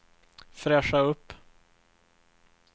fräscha upp